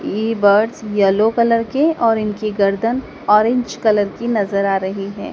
ये birds yellow colour के और इनकी गर्दन ऑरेंज कलर की नज़र आ रही हैं।